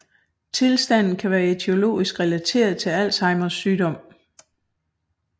Tilstanden kan være etiologisk relateret til Alzheimers sygdom